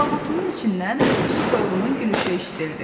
Alaqotunun içindən su toyuğunun gülüşü eşidildi.